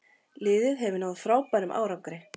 Liðið hefur náð frábærum árangri.